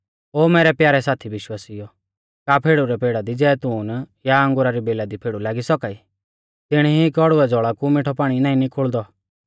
ओ मैरै प्यारै साथी विश्वासिउओ का फेड़ु रै पेड़ा दी जैतून या अंगुरा री बेला दी फेड़ु लागी सौका ई तिणी ई कौड़ुऐ ज़ौल़ा कु मिठौ पाणी नाईं निकुल़दौ